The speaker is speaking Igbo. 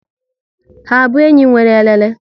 Ha abụ enyi nwéré elele?